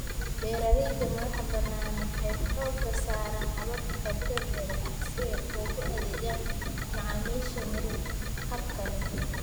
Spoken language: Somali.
Beeralayda madaxbannaan waxay xoogga saaraan hababka dabiiciga ah si ay ugu adeegaan macaamiisha miyir-qabka leh.